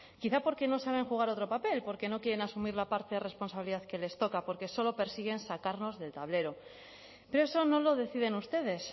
quizá porque no saben jugar otro papel porque no quieren asumir la parte de responsabilidad que les toca porque solo persiguen sacarnos del tablero pero eso no lo deciden ustedes